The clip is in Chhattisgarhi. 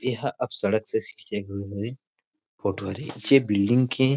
एहा अब सड़क से होई बिल्डिंग के।